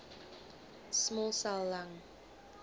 small cell lung